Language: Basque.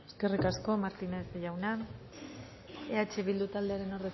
eskerrik asko martínez jauna eh bildu taldearen